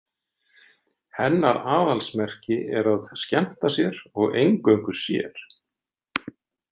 Hennar aðalsmerki er að skemmta sér og eingöngu sér.